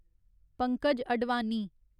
Pankaj Advani